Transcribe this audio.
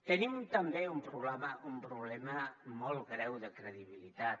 tenim també un problema molt greu de credibilitat